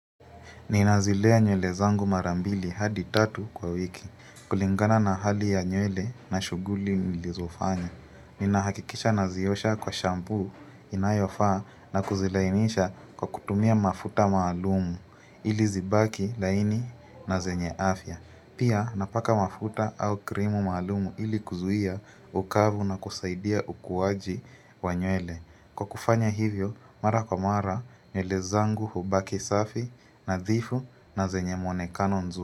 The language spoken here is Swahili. Ninazilea nywele zangu mara mbili hadi tatu kwa wiki kulingana na hali ya nywele na shuguli nilizofanya. Ninahakikisha naziosha kwa shampu inayofaa na kuzilainisha kwa kutumia mafuta malumu ili zibaki laini na zenye afya. Pia napaka mafuta au krimu malumu ili kuzuia ukavu na kusaidia ukuwaji wa nywele. Kwa kufanya hivyo, mara kwa mara nywele zangu hubaki safi nadhifu na zenye mwonekano nzuri.